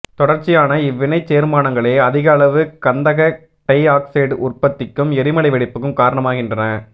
தொடர்ச்சியான இவ்வினைச் சேர்மானங்களே அதிக அளவு கந்தக டைஆக்சைடு உற்பத்திக்கும் எரிமலை வெடிப்புக்கும் காரணாமாகின்றன